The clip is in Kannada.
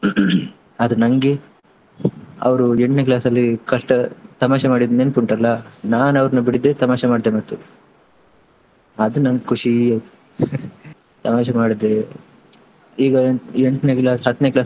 ಆದ್ರೆ ನನ್ಗೆ ಅವ್ರು ಎಂಟ್ನೇ class ಅಲ್ಲಿ ಕಷ್ಟ ತಮಾಷೆ ಮಾಡಿದ್ದು ನೆನಪುಂಟಲ್ಲ ನಾನ್ ಅವ್ರನ್ನ ಬಿಡ್ದೆ ತಮಾಷೆ ಮಾಡಿದೆ, ಅದು ನಂಗ್ ಖುಷಿ ಆಯ್ತು. ತಮಾಷೆ ಮಾಡುದು ಈಗ ಎಂ~ ಎಂಟ್ನೇ class ಹತ್ತನೇ class .